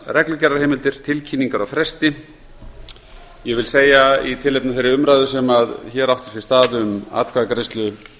reglugerðarheimildir tilkynningar á fresti ég vil segja í tilefni af þeirri umræðu sem hér átti sér stað um atkvæðagreiðslu